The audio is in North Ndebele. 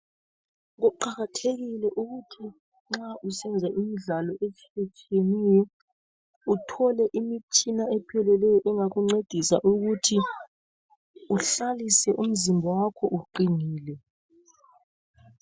Kuqakathekile ukuthi nxa usenza imidlalo etshiye tshiyeneyo Uthole imitshina epheleleyo engakuncedisa ukuthi uhlalise umzimba wakho uqinile.